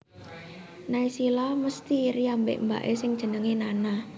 Naysila mesti iri ambek mbak e sing jenenge Nana